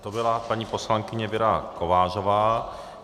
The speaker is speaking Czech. To byla paní poslankyně Věra Kovářová.